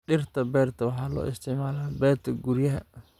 Dhirta beerta waxaa loo isticmaalaa beerta guryaha.